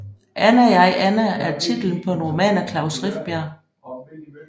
Anna jeg Anna er titlen på en roman af Klaus Rifbjerg